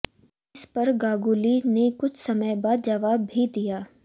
इस पर गांगुली ने कुछ समय बाद जवाब भी दिया